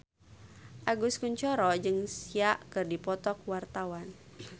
Agus Kuncoro jeung Sia keur dipoto ku wartawan